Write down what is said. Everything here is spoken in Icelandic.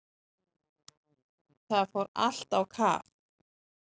Það fór allt á kaf.